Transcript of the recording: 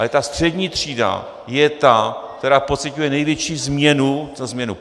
Ale ta střední třída je ta, která pociťuje největší změnu - co změnu?